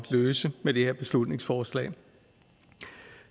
løse med det her beslutningsforslag